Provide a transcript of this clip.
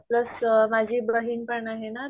Plus माझी बहीण पण आहे ना.